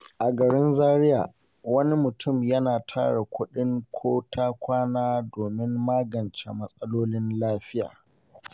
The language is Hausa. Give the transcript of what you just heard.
A garin Zariya, wani mutum ya tara kuɗin ko-ta-kwana domin magance matsalolin lafiya.